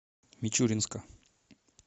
мичуринска